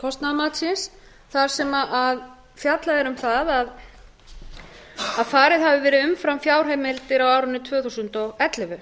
kostnaðarmatsins þar sem fjallað er um það að farið hafi verið umfram fjárheimildir á árinu tvö þúsund og ellefu